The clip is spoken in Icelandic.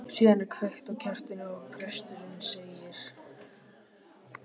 Síðan er kveikt á kertinu og presturinn segir